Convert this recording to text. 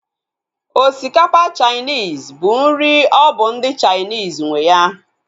Osikapa Chainis bụ nri ọ bụ ndị Chainis nwe ya